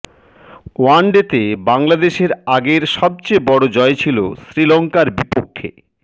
ওয়ানডেতে বাংলাদেশের আগের সবচেয়ে বড় জয় ছিল শ্রীলঙ্কার বিপক্ষে